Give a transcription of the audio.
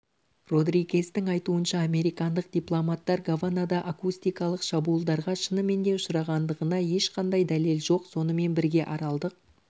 родригездің айтуынша американдық дипломаттар гаванада акустикалық шабуылдарға шынымен де ұшырағандығына ешқандай дәлел жоқ сонымен бірге аралдық